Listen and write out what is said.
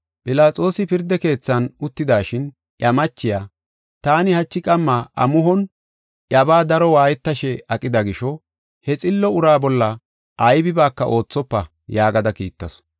Philaxoosi pirda keethan uttidashin, iya machiya, “Taani hachi qamma amuhon iyabaa daro waayetashe aqida gisho, he xillo uraa bolla aybibaaka oothofa” yaagada kiittasu.